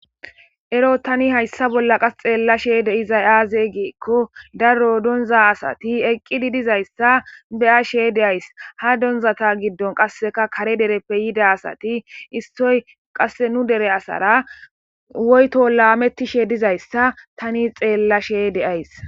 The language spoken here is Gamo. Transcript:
Ero tani qasse hayssa bolla xeellashe dizay aaze giza gidikko daro donza asati eqqidi dizaysa be'ashe de'ays. Ha donzata giddon qassekka kare dereppe yida asati issoy qasse nu dere asara woyto laametishe dizaysa tani xeellashe de'ayssi.